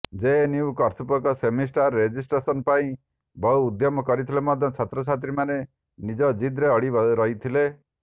JNU କର୍ତ୍ତୃପକ୍ଷ semester registration ପାଇଁ ବହୁ ଉଦ୍ୟମ କରିଥିଲେ ମଧ୍ୟ ଛାତ୍ରଛାତ୍ରୀମାନେ ନିଜ ଜିଦ୍ରେ ଅଡ଼ି ରହିଥିଲେ